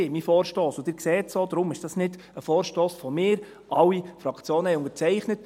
Sie sehen auch, dass es nicht nur ein Vorstoss von mir ist, sondern dass alle Fraktionen diesen haben unterzeichnet.